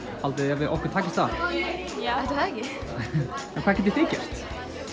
haldið þið að okkur takist það já ætli það ekki en hvað getið þið gert